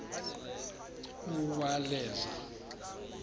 uwaleza